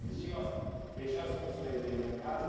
Eles tinham as eles tinham as funções dele na casa?